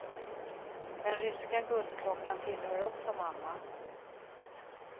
Den ryska guldklockan tillhör också mamma.